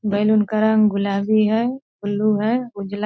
balloon का रंग गुलाबी है ब्लू है उजला --